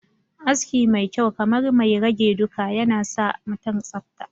aski mai kyau kamar mai rage duka nasamutum tsafta